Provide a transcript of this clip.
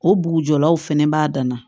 O bugujɔlaw fɛnɛ b'a dan na